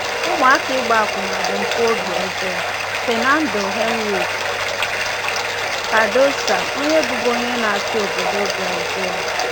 “Ụmụaka ịgba akwụna bụ mpụ obi ọjọọ.” — FERNANDO HENRIQUE CARDOSO, ONYE BỤBU ONYE NA-ACHỊ OBODO BRAZIL.